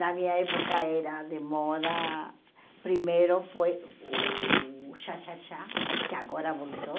Na minha época era de moda, primeiro foi o Xaxaxá, que agora voltou.